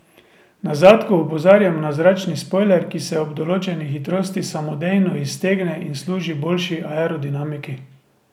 Na zadku opozarjamo na zračni spojler, ki se ob določeni hitrost samodejno iztegne in služi boljši aerodinamiki.